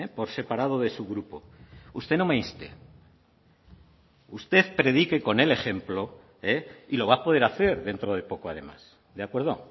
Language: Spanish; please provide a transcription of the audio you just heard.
por separado de su grupo usted no me inste usted predique con el ejemplo y lo va a poder hacer dentro de poco además de acuerdo